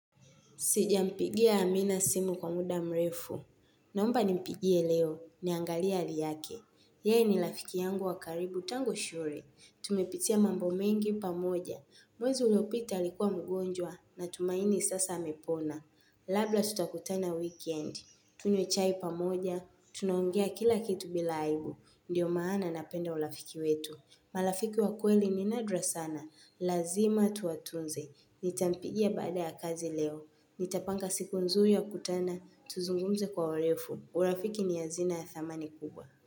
Sijampigia amina simu kwa muda mrefu. Naomba nimpigie leo, niangalie hali yake. Ye ni lafiki yangu wakaribu tangu shule. Tumepitia mambo mengi pamoja. Mwezi uliopita alikuwa mgonjwa na tumaini sasa amepona. Labla tutakutana weekend. Tunywe chai pamoja. Tunaongea kila kitu bila aibu. Ndiyo maana napenda ulafiki wetu. Malafiki wakweli ni nadra sana. Lazima tuwatunze. Ni tampigia baada ya kazi leo. Nitapanga siku nzuri ya kutana, tuzungumze kwa ulefu, urafiki ni hazina ya thamani kubwa.